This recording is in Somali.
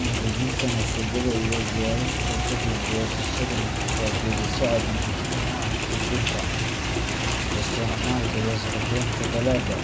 Angajinta masagada iyo diyaarintiisa ka dib goosashada waa geedi socod muhiim u ah kaydinta, isticmaalka, iyo suuq geynta dalagga.